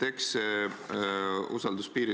Aitäh!